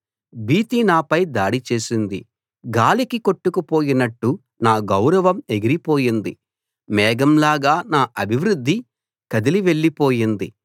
భీతి నాపై దాడి చేసింది గాలికి కొట్టుకుపోయినట్టు నా గౌరవం ఎగిరిపోయింది మేఘం లాగా నా అభివృద్ధి కదిలి వెళ్లి పోయింది